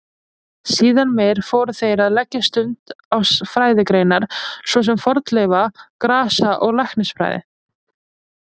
Síðar meir fóru þeir að leggja stund á fræðigreinar svo sem fornleifa-, grasa- og læknisfræði.